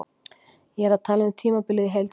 Ég er að tala um tímabilið í heild sinni.